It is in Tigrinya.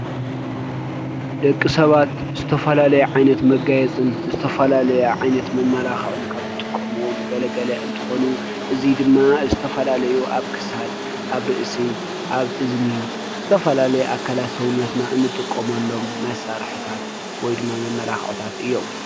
ደቂሰባት ዝተፈላለዩ ዓይነት መጋየፂ ዝተፈላለዩ ዓይነት መመላኽዕን ካብ ዝጥቀሙዎም ገለገለ እንትኮኑ እዚ ድማ ዝተፈላለዩ ኣብ ክሳድ፤ አብ እዚኒ፤ ኣብ ርእሲ ዝተፈላለዩ ኣካል ሰዊነትና እንጥቀመሎም መሳሪሕታት ወይ ድማ መመላኬዕታት እዮም።